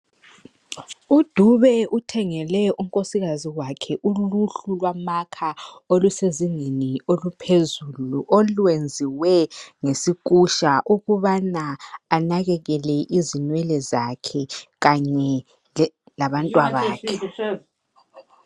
UDube uthengele unkosikazi wakhe uluhlu lwamakha olusezingeni oluphezulu olwenziwe ngesikusha ukubana anakekele izinwele zakhe kanye labantwa bakhe.